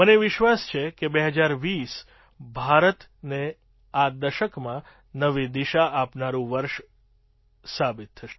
મને વિશ્વાસ છે કે ૨૦૨૦ ભારતને આ દશકમાં નવી દિશા આપનારું વર્ષ સાબિત થશે